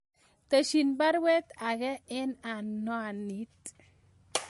Tesyin baruet age en anwanit